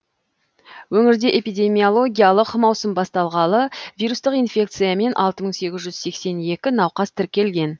өңірде эпидемиологиялық маусым басталғалы вирустық инфекциямен алты мың сегіз жүз сексен екі науқас тіркелген